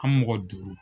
An mɔgɔ duuru